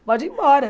Pode ir embora.